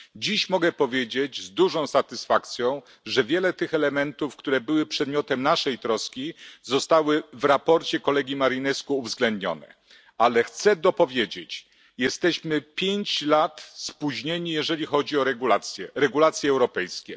Dziś mogę powiedzieć z dużą satysfakcją, że wiele tych elementów, które były przedmiotem naszej troski, zostało w sprawozdaniu kolegi Marinescu uwzględnionych, ale chcę dopowiedzieć jesteśmy 5 lat spóźnieni, jeżeli chodzi o regulacje europejskie.